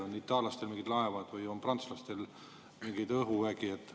On itaallastel mingid laevad või on prantslastel mingi õhuvägi?